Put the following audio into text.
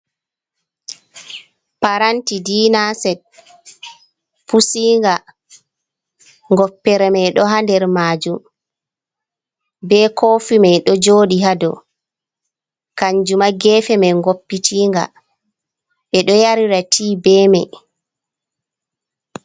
Paranti dina set pusinga goppere mai ɗo ha nder majum, ɓe kofi mai ɗo joɗi ha dou kanjuma gefe mai goppitinga ɓe ɗo yarira ti be mai.